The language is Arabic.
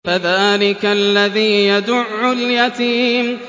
فَذَٰلِكَ الَّذِي يَدُعُّ الْيَتِيمَ